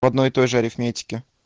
в одной и той же арифметики